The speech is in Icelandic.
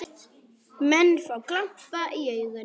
Menn fá glampa í augun.